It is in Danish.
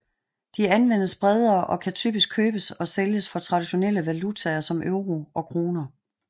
De anvendes bredere og kan typisk købes og sælges for traditionelle valutaer som euro og kroner